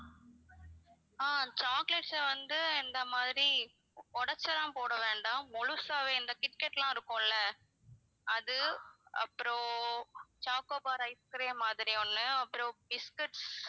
ஆஹ் chocolates அ வந்து இந்த மாதிரி உடைச்செல்லாம் போட வேண்டாம் முழுசாவே இந்த கிட் கேட் எல்லாம் இருக்கும்ல அது அப்பறம் choco bar ice cream மாதிரி ஒண்ணு அப்பறம் பிஸ்கெட்ஸ்